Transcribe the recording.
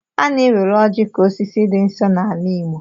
A na-ewere ọjị ka osisi dị nsọ n'ala igbo.